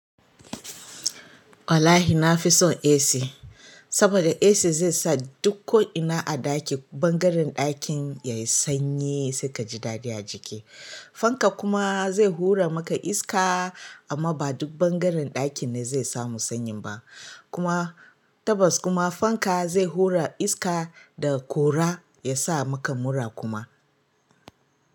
Wallahi na fi son AC saboda AC zai sa duk ko'ina a ɗaki, ɓangaren ɗakin ya yi sanyi sai ka ji daɗi a jiki. Fanka kuma zai hura maka iska amma ba duk ɓangaren ɗakin ne zai samu sanyin ba kuma tabbas kuma fanka zai hura iska da ƙura ya sa maka mura kuma.